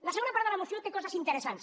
la segona part de la moció té coses interessants